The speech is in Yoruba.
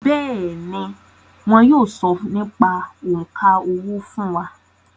Bẹ́ẹ̀ni, wọn yóò sọ nípa òǹkà owó fún wa